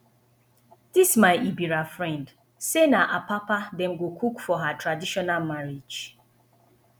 this my ebira friend say na apapa dem go cook for her traditional marriage